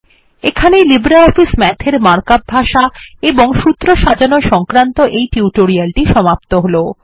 এখানেই LibreOffice Math এর markup ভাষা এবং সূত্র সাজানো সংক্রান্ত এই টিউটোরিয়াল টি সমাপ্ত হল